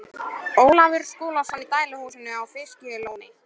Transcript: Ólafur Skúlason í dæluhúsinu á Fiskalóni.